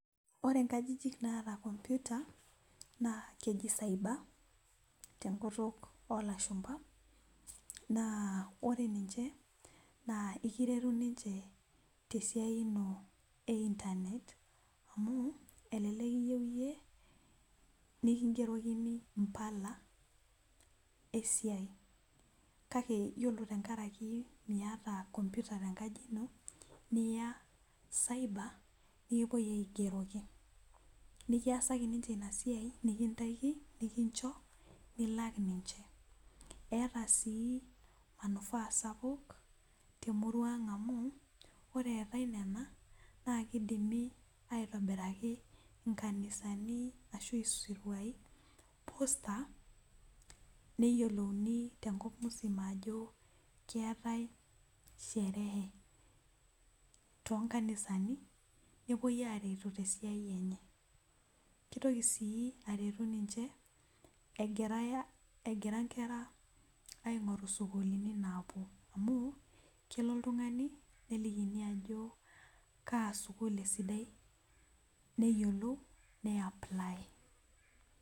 Ore nkajijik naata komputa naa keji cyber tenkutuk oolashumba naa ore ninche naa ekiretu ninche tesiai ino eintanet. amu elelek iyieu iyieu nikingerokini mpala esiai kake ore tenkaraki miyata komputa tenkaji ino niya cyber nikipoi aigeroki ,nikiyaski ninche ina siai nikigerokini nikintaikini nilak niche. eeta sii manufaa temurua ang amu ore eetae nena naa kidimi aitobiraki nkanisani ashu siruai posta neyiolouni tenkop msima ajo keetae sherehe toonkanisani nepuoi aretu tesiai enye ,kitoki sii aretu ninche egira nkera ingoru sukulini napuo ,amu kelo oltungani nelikini ajo kaa sukul esidai neyiolou nayaply.